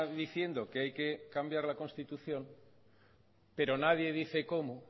diciendo que hay que cambiar la constitución pero nadie dice cómo